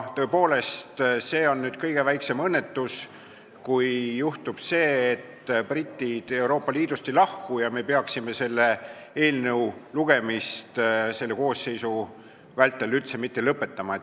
Tõepoolest, see oleks kõige väiksem õnnetus, kui juhtuks see, et britid Euroopa Liidust ei lahku, ja peaks minema nii, et me selle eelnõu lugemist praeguse koosseisu vältel üldse ei lõpeta.